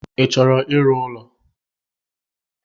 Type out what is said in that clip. I chọrọ ịrụ ụlọ.